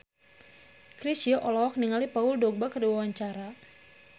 Chrisye olohok ningali Paul Dogba keur diwawancara